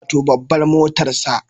Wato babbar motarsa